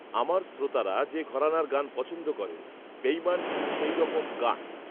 আমার শ্রোতারা যে ঘরানার গান পছন্দ করেন, 'বেঈমান' ঠিক সেই রকম গান